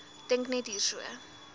dink net hierso